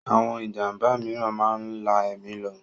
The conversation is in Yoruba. Àwon Ìjàmba mìíràn máa ń lá èmi lọ